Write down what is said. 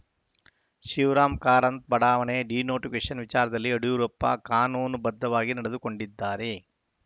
ಶಿವರಾಮ ಕಾರಂತ ಬಡಾವಣೆ ಡಿನೋಟಿಫಿಕೇಶನ್‌ ವಿಚಾರದಲ್ಲಿ ಯಡಿಯೂರಪ್ಪ ಕಾನೂನುಬದ್ಧವಾಗಿ ನಡೆದುಕೊಂಡಿದ್ದಾರೆ